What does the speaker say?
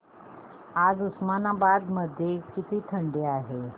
आज उस्मानाबाद मध्ये किती थंडी आहे